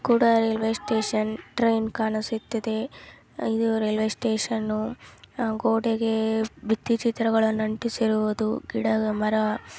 ಕೂಡಾ ಅಲ್ಲ railway station train ಕಾಣಿಸಿತ್ತಿದೆ. ಐದು ರೈಲ್ವೆ ಸ್ಟೇಷನ್ ನ್ನು. ಅಹ್ ಗೋಡೆಗೆ ಬಿತ್ತಿ ಚಿತ್ರಗಳನ್ನು ಅಂಟಿಸಿರುವುದು ಗಿಡ ಮರ --